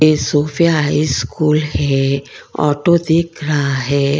ये Sophia high school है auto दिख रहा है।